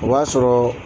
O b'a sɔrɔ